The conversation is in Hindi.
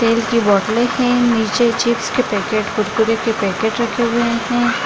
तेल की बोटले हैं। नीचे चिप्स के पैकेट रखे हुए हैं।